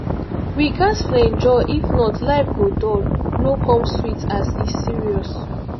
we ghas flenjo if not life go dull no come sweet as e serious